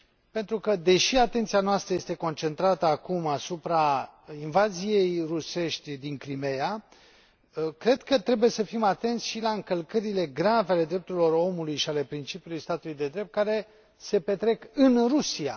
Pentru că, deși atenția noastră este concentrată acum asupra invaziei rusești din Crimeea, cred că trebuie să fim atenți și la încălcările grave ale drepturilor omului și ale principiului statului de drept care se petrec în Rusia.